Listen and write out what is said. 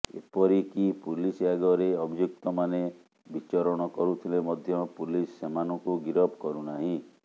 ଏପରିକି ପୁଲିସ ଆଗରେ ଅଭିଯୁକ୍ତମାନେ ବିଚରଣ କରୁଥିଲେ ମଧ୍ୟ ପୁଲିସ ସେମାନଙ୍କୁ ଗିରଫ କରୁନାହିଁ